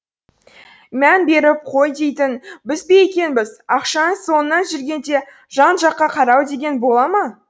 мән беріп қой дейтін біз бе екенбіз ақшаның соңынан жүргенде жан жаққа қарау деген бола ма